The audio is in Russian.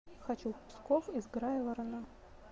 хочу в псков из грайворона